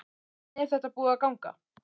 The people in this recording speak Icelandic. Hvernig er þetta búið að ganga?